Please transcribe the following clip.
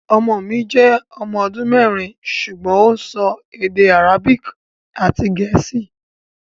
Ọmọ mi jẹ́ ọmọ ọdún mẹ́rin ṣùgbọ́n ó ń sọ èdè Arabic àti Gẹ̀ẹ́sì